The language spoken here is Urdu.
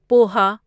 پوہا